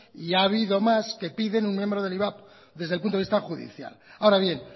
y ha habido más que piden un miembro del ivap desde el punto de vista judicial ahora bien